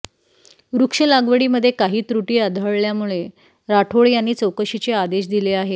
वृक्ष लागवडीमध्ये काही त्रुटी आढळल्यामुळे राठोड यांनी चौकशीचे आदेश दिले आहेत